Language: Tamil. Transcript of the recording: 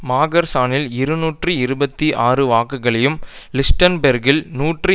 மாகர்சானில் இருநூற்றி இருபத்தி ஆறு வாக்குகளையும் லீச்டன்பேர்க்கில் நூற்றி